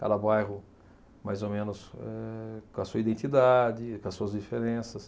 Cada bairro, mais ou menos, eh com a sua identidade, com as suas diferenças.